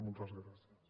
moltes gràcies